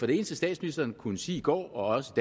det eneste statsministeren kunne sige i går også